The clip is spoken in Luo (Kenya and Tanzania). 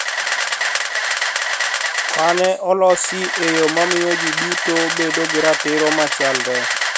Mane olosi e yo mamiyo ji duto bedo gi ratiro machalre